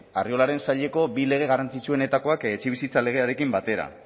arriolaren saileko bi lege garrantzitsuenetakoak etxebizitza legearekin batera